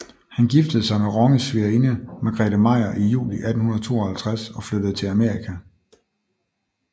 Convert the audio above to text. Han giftede sig med Ronges svigerinde Margarethe Meyer i juli 1852 og flyttede til Amerika